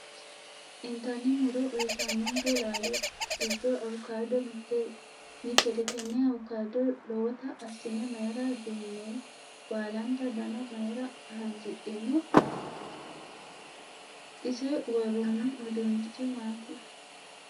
Intanni muro uyiitanonke laalo giddo avocado mittete tenne avocado lowota assine mayiira duunnoyi? Baalanta dana mayiira haanjidhino? Ise worroonni uduunichi maati?